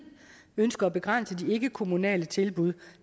ønske at begrænse de ikkekommunale tilbud